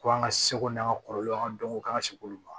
Ko an ka seko n'an ka kɔrɔlen an ka dɔnko k'an ka se k'olu dɔn